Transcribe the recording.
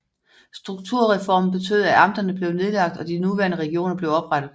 Strukturreformen betød at amterne blev nedlagt og de nuværende regioner blev oprettet